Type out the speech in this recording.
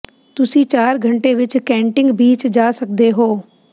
ਤੁਸੀਂ ਚਾਰ ਘੰਟੇ ਵਿੱਚ ਕੈਂਟਿੰਗ ਬੀਚ ਜਾ ਸਕਦੇ ਹੋ